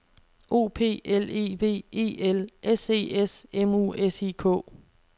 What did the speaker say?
O P L E V E L S E S M U S I K